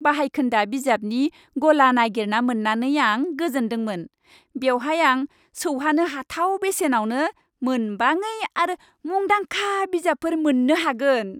बाहायखोन्दा बिजाबनि गला नागिरना मोन्नानै आं गोजोनदोंमोन। बेवहाय आं सौहानो हाथाव बेसेनावनो मोनबाङै आरो मुंदांखा बिजाबफोर मोन्नो हागोन।